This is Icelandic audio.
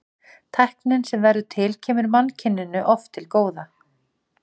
Tæknin sem verður til kemur mannkyninu oft til góða.